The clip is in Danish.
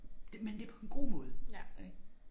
Det men det på en god måde ik